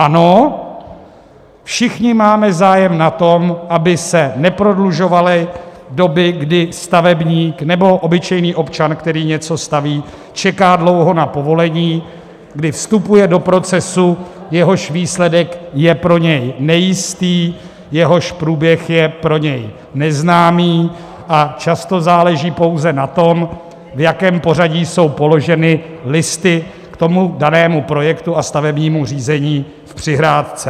Ano, všichni máme zájem na tom, aby se neprodlužovaly doby, kdy stavebník nebo obyčejný občan, který něco staví, čeká dlouho na povolení, kdy vstupuje do procesu, jehož výsledek je pro něj nejistý, jehož průběh je pro něj neznámý, a často záleží pouze na tom, v jakém pořadí jsou položeny listy k tomu danému projektu a stavebnímu řízení v přihrádce.